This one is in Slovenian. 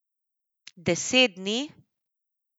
Deset dni?